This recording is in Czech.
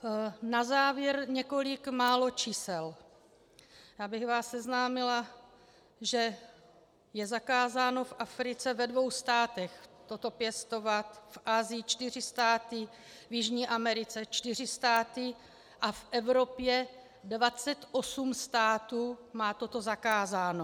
Na závěr několik málo čísel, abych vás seznámila, že je zakázáno v Africe ve dvou státech toto pěstovat, v Asii čtyři státy, v Jižní Americe čtyři státy a v Evropě 28 států má toto zakázáno.